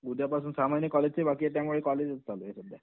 उद्यापासून, सहा महिने कॉलेजचेच बाकी आहे त्यामुळे कॉलेजच चालू आहे सध्या.